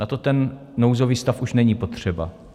Na to ten nouzový stav už není potřeba.